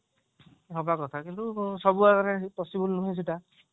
ହବା କଥା କିନ୍ତୁ ସବୁ ଜାଗାରେ possible ନୁହେଁ ସେଟା